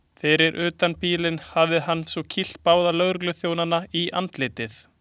Fyrir utan bílinn hafi hann svo kýlt báða lögregluþjónana í andlitið.